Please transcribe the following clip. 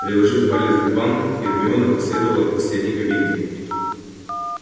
приложив палец к губам гермиона проследовала к последней кабинке